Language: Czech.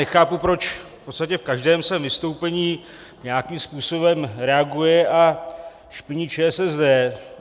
Nechápu, proč v podstatě v každém svém vystoupení nějakým způsobem reaguje a špiní ČSSD.